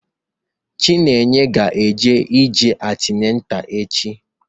Chinenye ga eje antinatal echi